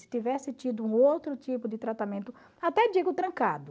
Se tivesse tido um outro tipo de tratamento, até digo trancado,